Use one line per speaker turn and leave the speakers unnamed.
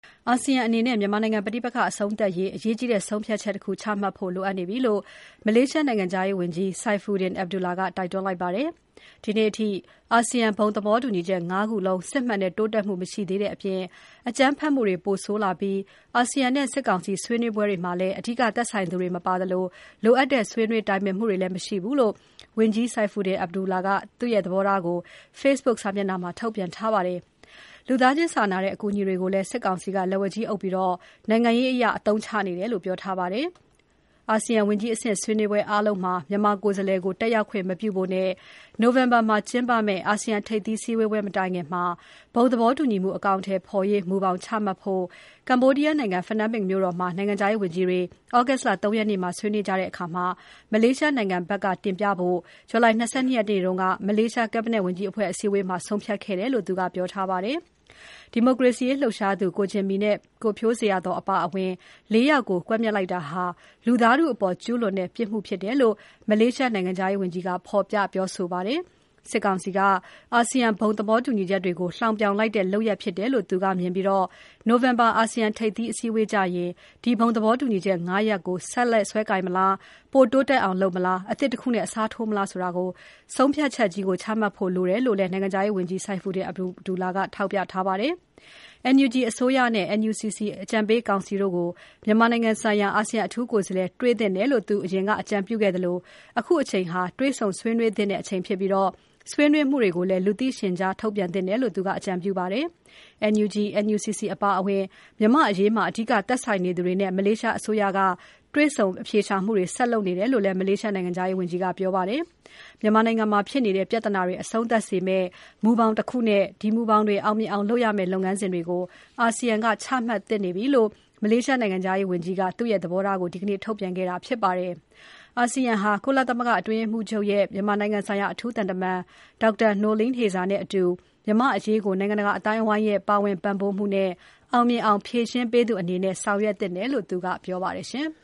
အာဆီယံအနေနဲ့ မြန်မာနိုင်ငံပဋိပက္ခအဆုံးသတ်ရေး အရေးကြီးတဲ့ ဆုံးဖြတ်ချက် တခု ချမှတ်ဖို့လိုအပ်နေပြီလို့ မလေးရှားနိုင်ငံခြားရေးဝန်ကြီး Saifuddin Abdullah ကတိုက်တွန်းလိုက်ပါတယ်။ ဒီနေ့အထိ အာဆီယံဘုံသဘောတူညီချက် ၅ ခုလုံး စစ်မှန်တဲ့တိုးတက်မှုမရှိသေးတဲ့အပြင် အကြမ်းဖက်မှုတွေ ပိုဆိုးလာပြီး အာဆီယံနဲ့ စစ်ကောင်စီဆွေးနွေးပွဲတွေမှာ အဓိကသက်ဆိုင်နေသူတွေ မပါသလို လိုအပ်တဲ့ဆွေးနွေးတိုင်ပင်မှုတွေလည်း မရှိဘူးလို့ ဝန်ကြီး Saifuddin Abdullah ကသဘောထားကို သူ့ရဲ့Facebook စာမျက်နှာမှာ ထုတ်ပြန်ထားပါတယ်။ လူသားချင်းစာနာတဲ့ အကူအညီတွေကိုလည်း စစ်ကောင်စီက လက်ဝါးကြီးအုပ်ပြီး နိုင်ငံရေးအရ အသုံးချနေတယ်လို့ ပြောထားပါတယ်။ အာဆီယံဝန်ကြီးအဆင့် ဆွေးနွေးပွဲအားလုံးမှာ မြန်မာကိုယ်စားလှယ်ကို တက်ရောက်ခွင့် မပြုဖို့နဲ့ နိုဝင် ဘာမှာကျင်းပမယ့် အာဆီယံ ထိပ်သီးစည်းဝေးပွဲမတိုင်ခင် ဘုံသဘောတူညီမှု အကောင်အထည်ဖော်ရေး မူဘောင်ချမှတ်ဖို့ ကမ္ဘောဒီယားနိုင်ငံ၊ ဖနွမ်းပင်မြို့တော်မှာ နိုင်ငံခြားရေးဝန်ကြီးတွေ သြဂုတ်လ ၃ ရက်မှာ ဆွေးနွေးကြတဲ့အခါ မလေးရှားနိုင်ငံဘက်ကတင်ပြဖို့ July လ ၂၂ ရက်က မလေးရှား Cabinet ဝန်ကြီးအဖွဲ့အစည်းအဝေးမှာ ဆုံးဖြတ်ခဲ့တယ်လို့ သူကပြောထားပါတယ်။ ကိုဂျင်မီ၊ ကိုဖြိုးဇေယျာသော်တို့အပါအဝင် ဒီမိုကရေစီရေးလှုပ်ရှားသူ ၄ ယောက်ကို ကွပ်မျက်လိုက်တာဟာ လူသားထုအပေါ် ကျူးလွန်တဲ့ ပြစ်မှုဖြစ်တယ်လို့ မလေးရှားနိုင်ငံခြားရေးဝန်ကြီးက ဖော်ပြပြောဆိုပါတယ်။ စစ်ကောင်စီက အာဆီယံဘုံသဘောတူညီချက်ကို လှောင်ပြောင်လိုက်တဲ့ လုပ်ရပ်ဖြစ်တယ်လို့သူကမြင်ပြီး နိုဝင်ဘာ အာဆီယံထိပ်သီးအစည်းအဝေးကျရင် ဒီဘုံသဘောတူညီချက် ၅ ရပ်ကို ဆက်လက်စွဲကိုင်မလား၊ ပိုတိုးတက်အောင်လုပ်မလား၊ အသစ်တခုနဲ့အစားထိုးမလားဆိုတဲ့ ဆုံးဖြတ်ချက်ကြီးကို ချမှတ်ဖို့လိုအပ်တယ်လို့လည်း နိုင်ငံခြားရေးဝန်ကြီး Saifuddin Abdullah ကထောက်ပြထားပါတယ်။ NUG အစိုးရနဲ့ NUCC အကြံပေးကောင်စီတို့ကို မြန်မာနိုင်ငံဆိုင်ရာ အာဆီယံအထူးကိုယ်စားလှယ်တွေ့သင့်တယ်လို့ သူအရင်က အကြံပြုခဲ့သလို အခုအချိန်ဟာ တွေ့ဆုံဆွေးနွေးသင့်တဲ့အချိန်ဖြစ်ပြီး ဆွေးနွေးမှုတွေကိုလည်း လူသိရှင်ကြားထုတ်ပြန်သင့်တယ်လို့ သူက အကြံပြုပါတယ်။ NUG၊ NUCC အပါအဝင် မြန်မာ့အရေးမှာ အဓိက သက်ဆိုင်နေသူတွေနဲ့ မလေးရှားအစိုးရက တွေ့ဆုံအဖြေရှာမှုတွေ ဆက်လုပ်နေတယ်လို့လည်း မလေးရှားနိုင်ငံခြားရေးဝန်ကြီးက ပြောပါတယ်။ မြန်မာနိုင်ငံမှာဖြစ်နေတဲ့ ပြဿနာတွေ အဆုံးသတ်စေမယ့် မူဘောင်တခုနဲ့ ဒီမူဘောင်တွေ အောင်မြင်အောင်လုပ်ရမယ့် လုပ်ငန်းစဉ်တွေကို ASEAN က ချမှတ်သင့်နေပြီလို့ မလေးရှားနိုင်ငံခြားရေးဝန်ကြီး Saifuddin Abdullah က သူ့ရဲ့သဘောထားကို ဒီနေ့ထုတ်ပြန်ခဲ့တာဖြစ်ပါတယ်။ အာဆီယံဟာ ကုလသမဂ္ဂအတွင်းရေးမှူးချုပ်ရဲ့ မြန်မာနိုင်ငံဆိုင်ရာ အထူးသံသမန် Dr Noeleen Heyzer နဲ့အတူ မြန်မာ့အရေးကို နိုင်ငံတကာအသိုင်းအဝိုင်းရဲ့ ပါဝင်ပံ့ပိုးမှုနဲ့ အောင်မြင်အောင် ဖြေရှင်းပေးသူအနေနဲ့ ဆောင်ရွက်သင့်တယ်လို့သူက ပြောပါတယ်ရှင်။